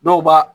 Dɔw b'a